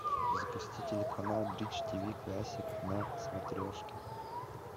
запусти телеканал бридж ти ви классик на смотрешке